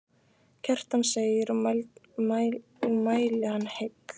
Kjartan segir og mæli hann heill.